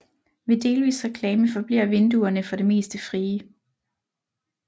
Ved delvis reklame forbliver vinduerne for det meste frie